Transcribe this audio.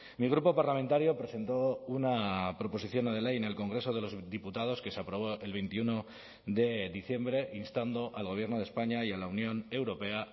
mi grupo parlamentario presentó una proposición no de ley en el congreso de los diputados que se aprobó el veintiuno de diciembre instando al gobierno de españa y a la unión europea